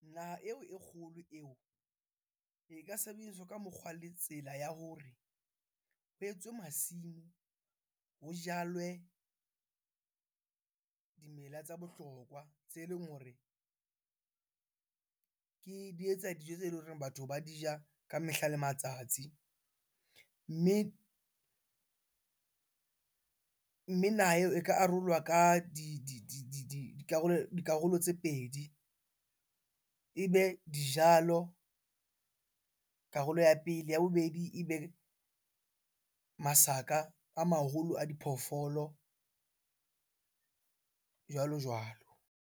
Naha eo e kgolo eo, e ka sebediswa ka mokgwa le tsela ya hore ho etswe masimo ho jalwe dimela tsa bohlokwa. Tse leng hore ke, di etsa dijo tse leng hore batho ba di ja ka mehla le matsatsi. Mme naha eo e ka arolwa ka dikarolo dikarolo tse pedi. Ebe dijalo, karolo ya pele. Ya bobedi, ebe masaka a maholo a diphoofolo jwalo-jwalo.